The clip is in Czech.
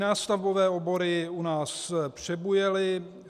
Nástavbové obory u nás přebujely.